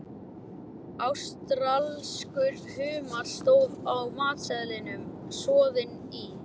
Ástralskur humar, stóð á matseðlinum, soðinn í